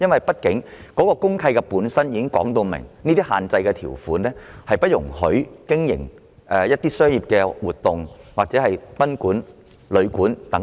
畢竟公契本身可能已訂有限制性條款，不得進行商業活動或經營賓館或旅館等。